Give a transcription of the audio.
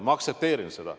Ma aktsepteerin seda.